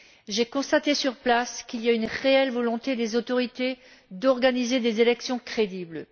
J'ai constaté sur place qu'il y avait une réelle volonté des autorités d'organiser des élections crédibles.